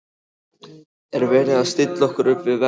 Er verið að stilla okkur upp við vegg?